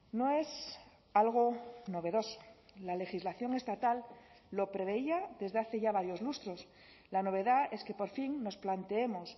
no es algo novedoso la legislación estatal lo preveía desde hace ya varios lustros la novedad es que por fin nos planteemos